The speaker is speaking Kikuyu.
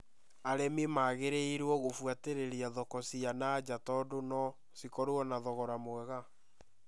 Arĩmi magĩrĩirũo gũbuatĩrĩra thoko cia na nja tondũ no cikorwo na thogora mwega